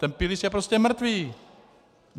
Ten pilíř je prostě mrtvý!